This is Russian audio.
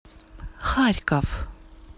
харьков